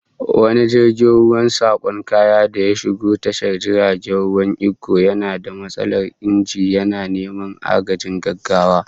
Wani jirgin ruwan sakon kaya da ya shigo tashar jirgin ruwan Ikko, yana da matsalar inji, yana neman agajin gaggawa